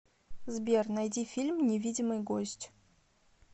сбер найди фильм невидимый гость